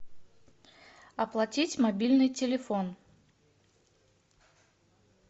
оплатить мобильный телефон